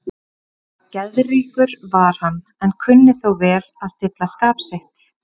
Geðríkur var hann, en kunni þó vel að stilla skap sitt.